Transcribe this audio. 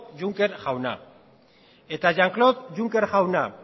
juncker jauna eta jean claude juncker jauna